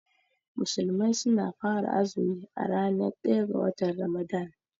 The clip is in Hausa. Musulmai suna fara azumi a ranar ɗaya ga watan Ramadan.